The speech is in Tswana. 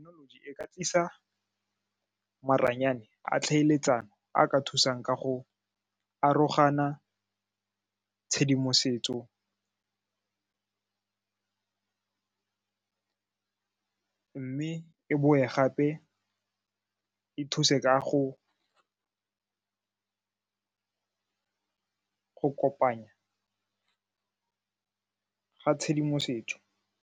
e ka tlisa maranyane a tlhaeletsano a ka thusang ka go arogana tshedimosetso mme e boe gape e thuse ka go go kopanya ka tshedimosetso.